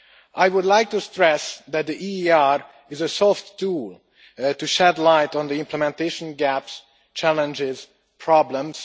I would like to stress that the EIR is a soft tool to shed light on implementation gaps, challenges and problems.